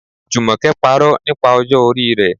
Jumoke parọ́ nípa ọjọ́ orí rẹ̀.